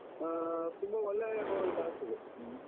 ಹಾ ತುಂಬ ಒಳ್ಳೆಯ ಹೋ ಇದಾಗ್ತದೆ ಹ್ಮ್.